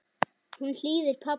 Hún hlýðir pabba.